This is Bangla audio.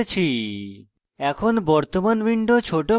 এখন বর্তমান window ছোট করে